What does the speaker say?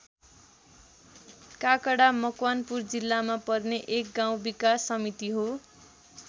काकडा मकवानपुर जिल्लामा पर्ने एक गाउँ विकास समिति हो।